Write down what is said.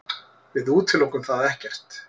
Við útilokum það ekkert.